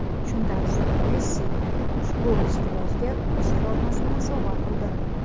Shundan so‘ng Messi ushbu ishqibozga o‘z formasini sovg‘a qildi.